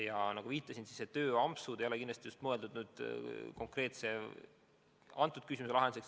Ja nagu ma viitasin, tööampsud ei ole kindlasti mõeldud selle konkreetse küsimuse lahendamiseks.